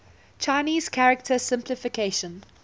chinese character simplification